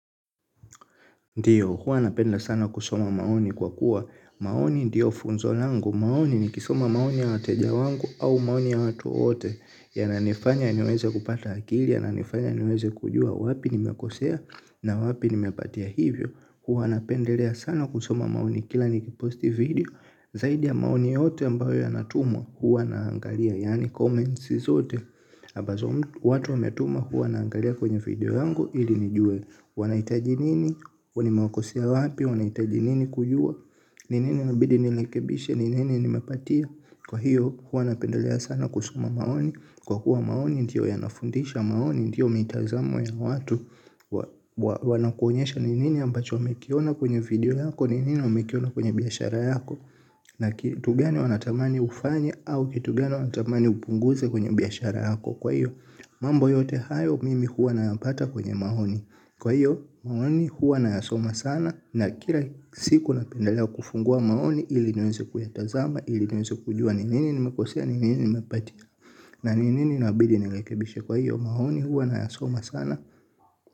Ndio, huwa napenda sana kusoma maoni kwa kuwa. Maoni ndio funzo langu. Maoni nikisoma maoni ya wateja wangu au maoni ya watu wote yananifanya niweze kupata akili yananifanya niweze kujua wapi nimekosea na wapi nimepatia hivyo. Huwa anapendelea sana kusoma maoni kila nikiposti video. Zaidi ya maoni yote ambayo yana tumwa huwa naangalia. Yani comments zote. Abazo watu ametuma huwa naangalia kwenye video yangu ili nijue. Wanahitaji nini, nimewakosea wapi, wanahitaji nini kujua ni nini inabidi nirekebishe, ni nini nimepatia kwa hiyo hua napendelea sana kusoma maoni kwa kuwa maoni ndio yanafundisha maoni, ndio mitazamo ya watu wanaku onyesha ni nini ambacho umekiona kwenye video yako ni nini wamekiona kwenye biashara yako na kitu gani wanatamani ufanye au kitu gani wanatamani upunguze kwenye biashara yako kwa hiyo, mambo yote hayo mimi hua nayapata kwenye maoni kwa hiyo maoni huwa na yasoma sana na kila siku napendalea kufungua maoni ili niweze kuya tazama ili niweze kujua ni nini nimekosea ni nini nimepatia na ni nini inabidi nirekebishe kwa hiyo maoni huwa na yasoma sana.